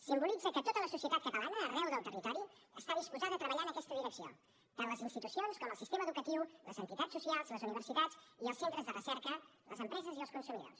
simbolitza que tota la societat catalana arreu del territori està disposada a treballar en aquesta direcció tant les institucions com el sistema educatiu les entitats socials les universitats i els centres de recerca les empreses i els consumidors